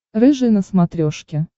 рыжий на смотрешке